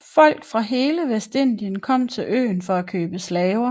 Folk fra hele Vestindien kom til øen for at købe slaver